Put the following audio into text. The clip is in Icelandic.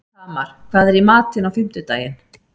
Tamar, hvað er í matinn á fimmtudaginn?